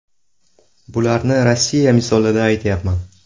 Bularni Rossiya misolida aytyapman.